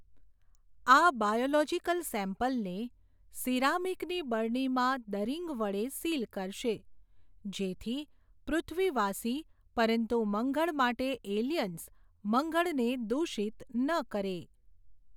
આ બાયોલોજીકલ સેમ્પલને, સીરામીકની બરણીમાં દરીંગ વડે સીલ કરશે, જેથી પૃથ્વીવાસી પરંતુ મંગળ માટે એલિયન્સ મંગળને દુષિત ન કરે.